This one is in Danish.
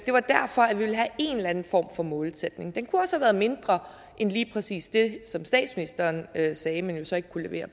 det var derfor at vi ville have en eller anden form for målsætning den kunne også have været mindre end lige præcis det som statsministeren sagde men jo så ikke kunne levere